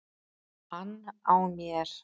ann á mér.